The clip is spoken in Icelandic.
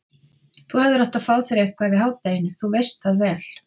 Þú hefðir átt að fá þér eitthvað í hádeginu, þú veist það vel.